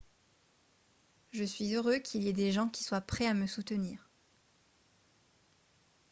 je suis heureux qu'il y ait des gens qui soient prêts à me soutenir